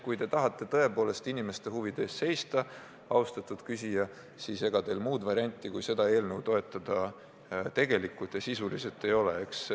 Kui te tahate tõepoolest inimeste huvide eest seista, austatud küsija, siis ega teil muud varianti kui seda eelnõu toetada tegelikult ei ole.